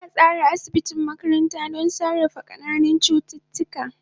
An tsara asibiti makaranta don sarrafa ƙananan cututtuka.